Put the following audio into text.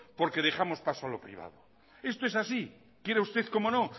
porque dejamos paso a lo privado esto es así quiera usted como no